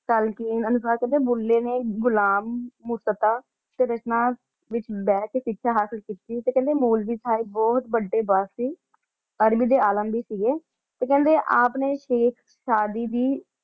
ਸਲ੍ਕੀਨ ਅਨੁਸਾਰ ਕੇਹ੍ਨ੍ਡੇ ਭੁੱਲੇ ਨੇ ਘੁਲਮ ਮੁਸਤਫ਼ਾ ਦੇ ਵਿਚ ਬੇਹ ਕੇ ਸਿਖਯ ਹਾਸਿਲ ਕੀਤੀ ਸੀ ਤੇ ਕੇਹ੍ਨ੍ਡੇ ਮੋਲਵੀ ਸਾਹਿਬ ਬੋਹਤ ਵਾਦੇ ਸੀ ਆਦਮੀ ਤੇ ਆਲਮ ਵੀ ਸੀਗੇ ਤੇ ਕੇਹ੍ਨ੍ਡੇ ਆਪ ਨੇ ਸ਼ੇਇਖ ਸਾਡੀ ਦੀ